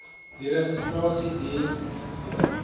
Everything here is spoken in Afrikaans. deregistrasie duur ongeveer